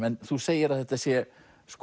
en þú segir að þetta sé